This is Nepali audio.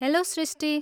हेल्लो सृष्टी!